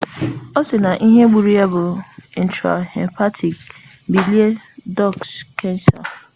asiri na ihe gburu ya bu intrahepatic bile duct kansa